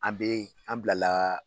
An bɛ an bilala